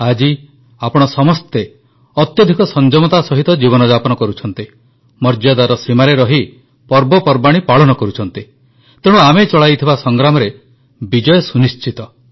ଆଜି ଆପଣ ସମସ୍ତେ ଅତ୍ୟଧିକ ସଂଯମତା ସହିତ ଜୀବନଯାପନ କରୁଛନ୍ତି ମର୍ଯ୍ୟାଦାର ସୀମାରେ ରହି ପର୍ବପର୍ବାଣୀ ପାଳନ କରୁଛନ୍ତି ତେଣୁ ଆମେ ଚଳାଇଥିବା ସଂଗ୍ରାମରେ ବିଜୟ ସୁନିଶ୍ଚିତ